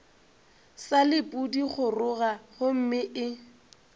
sa le pudigoroga gomme e